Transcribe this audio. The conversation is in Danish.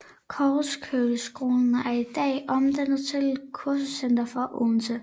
Korsløkkeskolen er i dag omdannet til kursuscenter for Odense